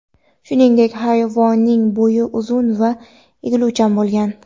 Shuningdek, hayvonning bo‘yni uzun va egiluvchan bo‘lgan.